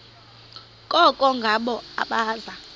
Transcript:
koko ngabo abaza